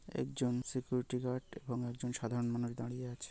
একজন security guard এবং একজন সাধারন মানুষ দাঁড়িয়ে আছে।